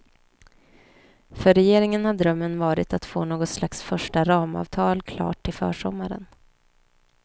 För regeringen har drömmen varit att få något slags första ramavtal klart till försommaren.